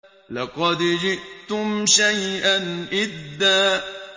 لَّقَدْ جِئْتُمْ شَيْئًا إِدًّا